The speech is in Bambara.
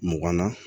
Mugan na